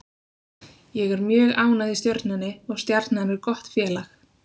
Ég er mjög ánægð í Stjörnunni og Stjarnan er gott félag.